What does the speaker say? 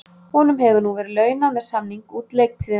Honum hefur nú verið launað með samning út leiktíðina.